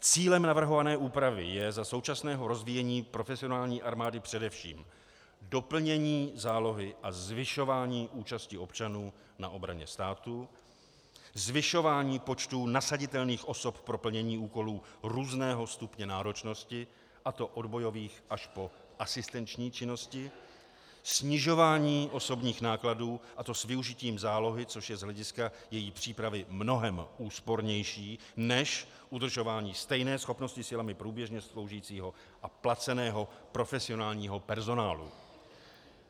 Cílem navrhované úpravy je za současného rozvíjení profesionální armády především doplnění zálohy a zvyšování účasti občanů na obraně státu, zvyšování počtů nasaditelných osob pro plnění úkolů různého stupně náročnosti, a to od bojových až po asistenční činnosti, snižování osobních nákladů, a to s využitím zálohy, což je z hlediska její přípravy mnohem úspornější než udržování stejné schopnosti silami průběžně sloužícího a placeného profesionálního personálu.